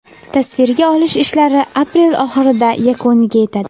Tasvirga olish ishlari aprel oxirida yakuniga yetadi.